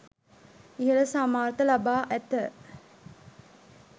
ඉහළ සාමාර්ථ ලබා ඇත